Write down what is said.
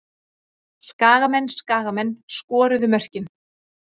Skagamenn Skagamenn skoruðu mörkin.